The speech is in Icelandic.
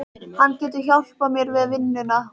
Hann getur hjálpað mér við vinnuna